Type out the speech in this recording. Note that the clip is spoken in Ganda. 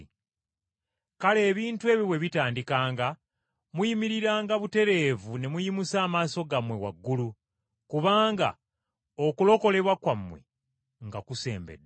Kale ebintu ebyo bwe bitandikanga muyimiriranga butereevu ne muyimusa amaaso gammwe waggulu! Kubanga okulokolebwa kwammwe nga kusembedde.”